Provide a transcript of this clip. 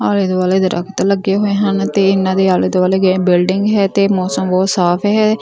ਆਲੇ ਦੁਆਲੇ ਦਰਖਤ ਲੱਗੇ ਹੋਏ ਹਨ ਤੇ ਇਹਨਾਂ ਦੇ ਆਲੇ ਦੁਆਲੇ ਬਿਲਡਿੰਗ ਹੈ ਤੇ ਮੌਸਮ ਬਹੁਤ ਸਾਫ ਹੈ।